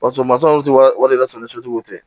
Barisa mansinw tɛ o de y'a sɔrɔ ni sotigiw tɛ